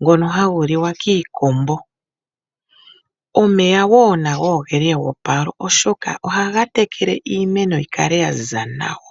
ngono hagu liwa kiikombo. Omeya wo nago oge li eopalo, oshoka ohaga tekele iimeno yi kale ya ziza nawa.